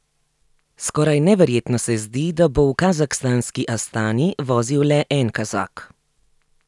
Skoraj neverjetno se zdi, da bo v kazahstanski Astani vozil le en Kazak.